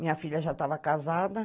Minha filha já estava casada.